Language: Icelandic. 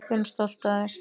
Við erum stolt af þér.